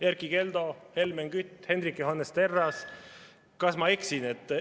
Erkki Keldo, Helmen Kütt, Hendrik Johannes Terras, kas ma eksin?